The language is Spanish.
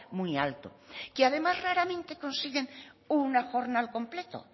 muy alto que además raramente consiguen una jornada al completo